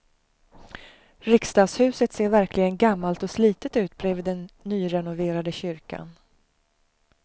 Riksdagshuset ser verkligen gammalt och slitet ut bredvid den nyrenoverade kyrkan.